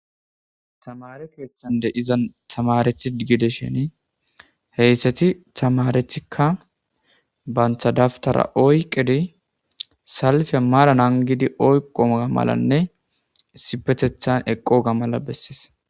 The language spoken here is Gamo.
Tamare koethande izan tamarethi gidesheni heyssati tamarethikka banthadaftara oyqedi salfe maran angidi oyqomga malanne isipetethan eqqo ga mala bessis.